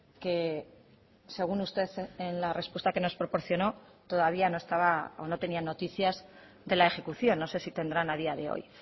que según usted en la respuesta que nos proporcionó todavía no estaba o no tenía noticias de la ejecución no sé si tendrán a día de hoy